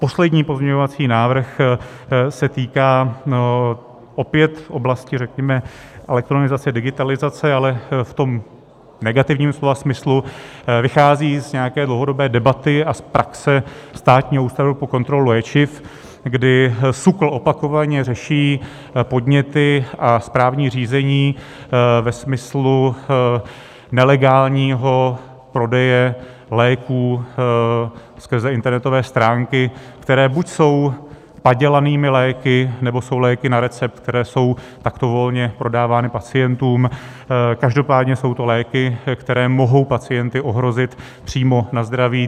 Poslední pozměňovací návrh se týká opět oblasti řekněme elektronizace digitalizace, ale v tom negativním slova smyslu vychází z nějaké dlouhodobé debaty a z praxe Státního ústavu pro kontrolu léčiv, kdy SÚKL opakovaně řeší podněty a správní řízení ve smyslu nelegálního prodeje léků skrze internetové stránky, které buď jsou padělanými léky, nebo jsou léky na recept, které jsou takto volně prodávány pacientům, každopádně jsou to léky, které mohou pacienty ohrozit přímo na zdraví.